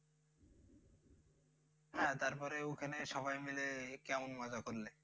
তারপর ওখানে সবাই মিলে কেমন মজা করলে?